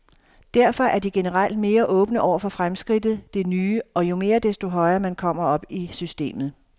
Derfor er de generelt mere åbne over for fremskridtet, det nye, og jo mere, desto højere man kommer op i systemet.